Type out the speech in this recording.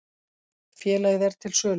Félagið er til sölu.